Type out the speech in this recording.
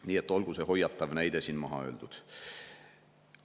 Nii et olgu see hoiatav näide siin maha öeldud.